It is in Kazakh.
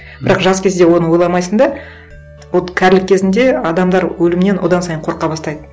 бірақ жас кезде оны ойламайсың да вот кәрілік кезінде адамдар өлімнен одан сайын қорқа бастайды